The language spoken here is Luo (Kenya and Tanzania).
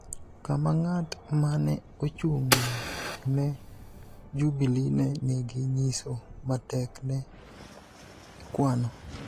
kama ng�at ma ne ochung� ne Jubili ne nigi nyiso matek ne ikwano